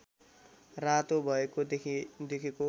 रातो भएको देखेको